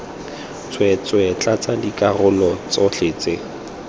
tsweetswee tlatsa dikarolo tsotlhe tse